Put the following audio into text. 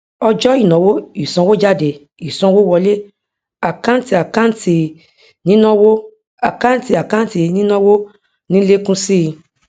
ọjọ ìnáwó ìsanwójádé ìsanwówọlé àkántìàkántì nínáwó àkántìàkántì nínáwó ní ń lékún síi